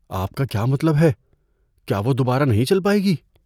آپ کا کیا مطلب ہے؟ کیا وہ دوبارہ نہیں چل پائے گی؟